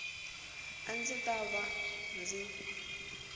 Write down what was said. a ndzi ta va ndzi